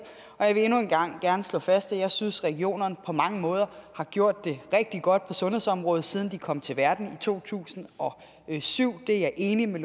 og jeg vil endnu en gang gerne slå fast at jeg synes at regionerne på mange måder har gjort det rigtig godt på sundhedsområdet siden de kom til verden i to tusind og syv det er jeg enig med